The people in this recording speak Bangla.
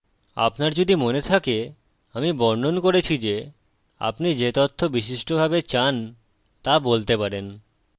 আপনার যদি মনে থাকে আমি বর্ণন করেছি যে আপনি যে তথ্য বিশিষ্টভাবে চান তা বলতে পারেন